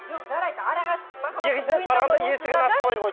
жоқ жарайды арақашықтық екінші рет барғанда есігін ашпай қойды